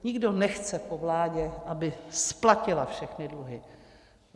Nikdo nechce po vládě, aby splatila všechny dluhy.